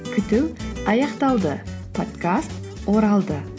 күту аяқталды подкаст оралды